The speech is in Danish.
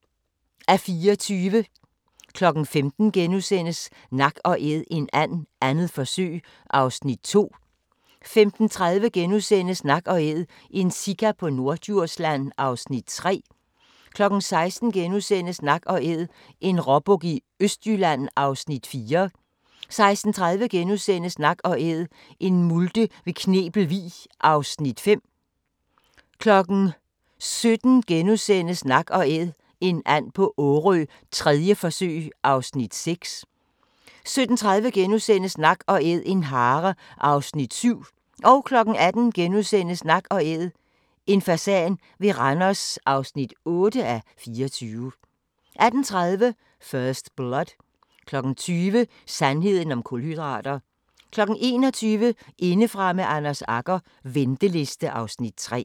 15:00: Nak & Æd en and - 2. forsøg (2:24)* 15:30: Nak & Æd – en sika på Norddjursland (3:24)* 16:00: Nak & Æd – en råbuk i Østjylland (4:24)* 16:30: Nak & Æd – en multe ved Knebel Vig (5:24)* 17:00: Nak & Æd – en and på Årø, 3. forsøg (6:24)* 17:30: Nak & Æd – en hare (7:24)* 18:00: Nak & Æd – en fasan ved Randers (8:24)* 18:30: First Blood 20:00: Sandheden om kulhydrater 21:00: Indefra med Anders Agger - venteliste (Afs. 3)